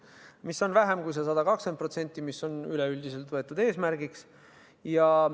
Seda on vähem kui 120%, mis on seatud üldiseks eesmärgiks.